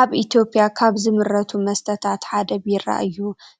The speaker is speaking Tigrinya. አብ አትዮጲያ ካብ ዝምረቱ መስተታት ሓደ ቢራ እዩ